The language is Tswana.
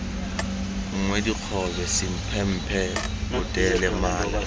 nngwe dikgobe semphemphe potele mala